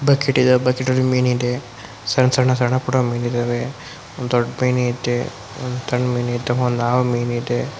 bucket ಇದೆ bucket ಅಲ್ಲಿ ಮೀನ್ ಇದೆ ಸಣ್ ಸಣ್ಣ ಸಣ್ಣ ಮೀನ್ ಇದಾವೆ ದೊಡ್ಡ್ ಮೀನ್ ಐತೆ ಸಣ್ಣ ಮೀನ್ ಐತೆ ಒಂದ್ ಹಾವು ಮೀನ್ ಐತೆ